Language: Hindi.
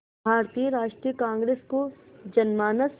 भारतीय राष्ट्रीय कांग्रेस को जनमानस